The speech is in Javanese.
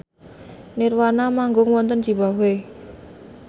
nirvana manggung wonten zimbabwe